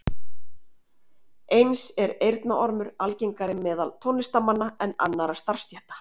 eins er eyrnaormur algengari meðal tónlistarmanna en annarra starfsstétta